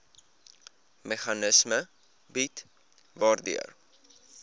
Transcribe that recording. meganisme bied waardeur